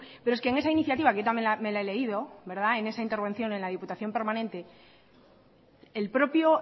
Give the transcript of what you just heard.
pero es que en esa iniciativa que yo también me la he leído verdad en esa intervención en la diputación permanente el propio